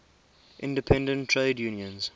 independent trade unions